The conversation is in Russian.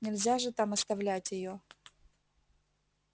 нельзя же там оставлять её